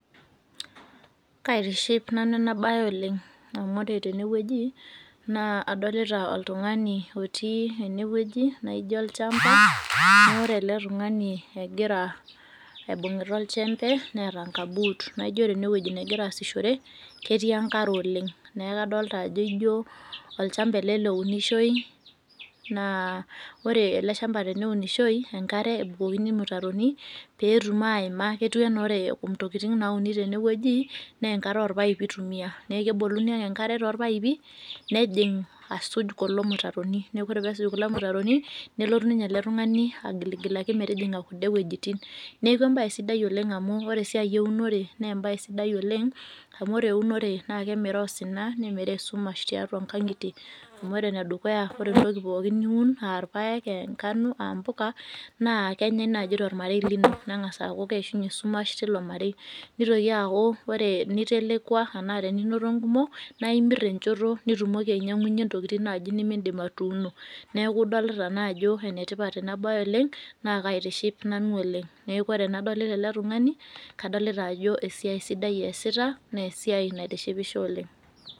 Kaitiship nanu enabaye oleng' amu ore tenewueji naa adolita oltung'ani otii enewueji naaijo olchamba noore ele tung'ani egira aibung'ita olchembe neeta nkabuut naijo ore enewueji negiraasishore ketii enkare oleng'. Neaku adolita ajo ijo olchamba ele lounishoi naa ore ele  shamba teneunishoi naa enkare ebukokini imutaroni peetum aaima ketuu anaa ore intokitin naauni tenewueji neenkare orpaipi eitumia neaku eboluni ake enkare tolpaipi nejing' asuj kulo mutaroni. Neaku ore pesuj kulo mutaroni nelotu ninye ele tung'ani agiligilaki metujing'a kun'de wuejitin. Neaku embaye sidai oleng' amu ore esiai eunore neembaye sidai oleng' amu ore eunore naakemiraa osina nemiraa esumash tiatua ngang'itie. Amu ore enedukuya ore entoki pooki niun aarpaek, eengano, aampoka naa kenyai naji tolmarei lino neng'as aaku keishunye esumash tilo marei. Nitoki aaku ore nitelekua anaa teninoto nkumok naaimirr enchoto nitumoki ainyang'unye intokitin naaji nimindim atuuno. Neaku idolita naajo enetipat enabaye oleng' naakaitiship nanu oleng'. Neaku ore enadolita ele tung'ani kadolita ajo esiai sidai easita neesiai naitishipisho oleng'.